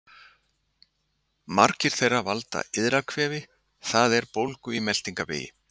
Margar þeirra valda iðrakvefi, það er bólgu í meltingarvegi.